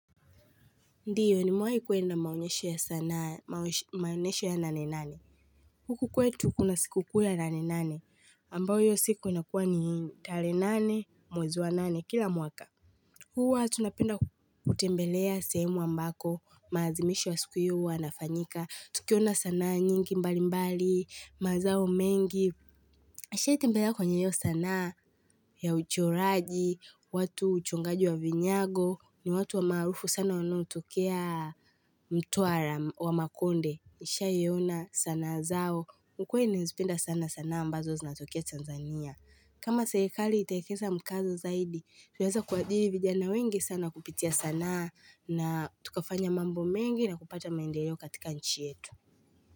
Ndiyo ni mewai kuenda maonyesho ya sanaa, maonyesho ya nane nane. Huku kwetu kuna siku kuu ya nane nane, ambayo iyo siku inakuwa ni talehe nane, mwezi wa nane, kila mwaka. Huwa tunapenda kutembelea sehemu ambako, maazimishu ya siku iyo yanafanyika, tukiona sanaa nyingi mbali mbali, mazao mengi. Asha itimbeda kwenye yo sanaa ya uchoraji, watu uchongaji wa vinyago, ni watu wa maarufu sana wanaotokea mtuara wa makonde. Asha yiona sana zao, ukweli nizipenda sana sana ambazo zinatokea Tanzania. Kama serikali itaekeza mkazo zaidi, tuweza kuajiri vijana wengi sana kupitia sanaa na tukafanya mambo mengi na kupata maendeleo katika nchi yetu.